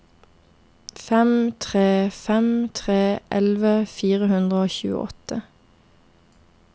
fem tre fem tre elleve fire hundre og tjueåtte